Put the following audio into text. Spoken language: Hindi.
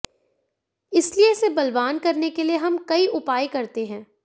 इसलिए इसे बलवान करने के लिए हम कई उपाय करते है